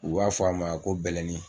U b'a fɔ a ma ko bɛlɛnin